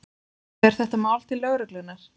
Fer þetta mál til lögreglunnar?